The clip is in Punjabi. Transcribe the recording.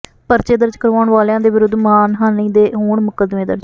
ਪਰਚੇ ਦਰਜ ਕਰਵਾਉਣ ਵਾਲਿਆਂ ਵਿਰੁੱਧ ਮਾਣਹਾਨੀ ਦੇ ਹੋਣ ਮੁਕੱਦਮੇ ਦਰਜ਼